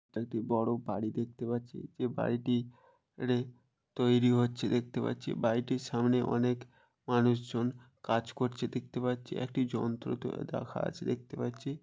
একটি বড় বাড়ি দেখতে পারছি। যে বাড়িটি রে তৈরি হচ্ছে দেখতে পাচ্ছি বাড়িটির সামনে অনেক মানুষজন কাজ করছে দেখতে পাচ্ছি একটি যন্ত্রে তো দেখা আছে দেখতে পাচ্ছি ।